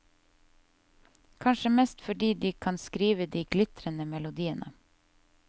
Kanskje mest fordi de kan skrive de glitrende melodiene.